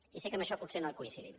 i sé que en això potser no coincidim